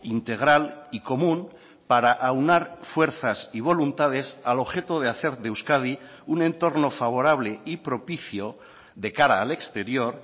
integral y común para aunar fuerzas y voluntades al objeto de hacer de euskadi un entorno favorable y propicio de cara al exterior